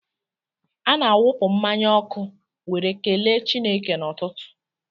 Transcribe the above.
Ana-akwụpụ mmanya ọkụ were kelee Chineke n'ụtụtụ.